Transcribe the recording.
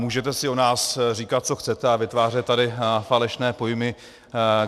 Můžete si o nás říkat, co chcete, ale vytvářet tady falešné pojmy...